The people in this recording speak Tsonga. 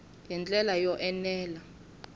hi ndlela yo enela ku